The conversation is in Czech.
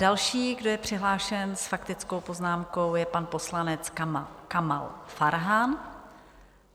Další, kdo je přihlášen s faktickou poznámkou, je pan poslanec Kamal Farhan.